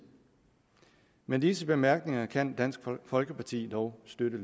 med disse bemærkninger kan dansk folkeparti dog støtte